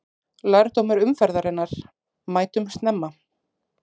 Lærdómur umferðarinnar: Mætum snemma!